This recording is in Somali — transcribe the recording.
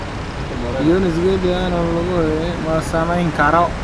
Yunis gedi: Anthony Joshua gabi ahaanba ma samayn karo